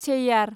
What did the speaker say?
Cheyyar